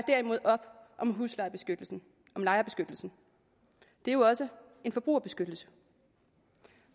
op om lejerbeskyttelsen det er jo også en forbrugerbeskyttelse